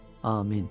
Amin.